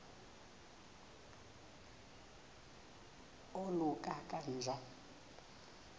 oluka ka njl